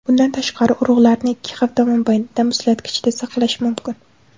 Bundan tashqari, urug‘larni ikki hafta mobaynida muzlatkichda saqlash mumkin.